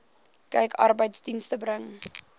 kyk arbeidsdienste bring